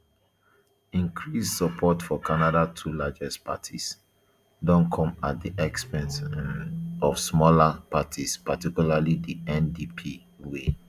increased support for canada two largest parties don come at di expense um of smaller parties particularly di ndp wey